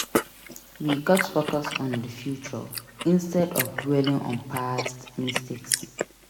We gats focus on the future instead of dwelling on past mistakes.